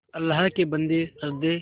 अल्लाह के बन्दे हंसदे